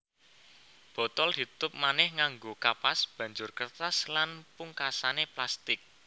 Botol ditutup manéh nganggo kapas banjur kertas lan pungkasané plastik